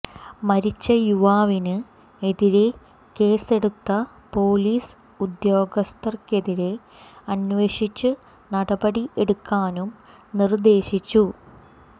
മരിച്ച യുവാവിന് എതിരെ കേസെടുത്ത പൊലീസ് ഉദ്യോഗസ്ഥർക്കെതിരെ അന്വേഷിച്ച് നടപടി എടുക്കാനും നിര്ദ്ദേശിച്ചു